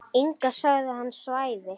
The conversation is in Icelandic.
Inga sagði að hann svæfi.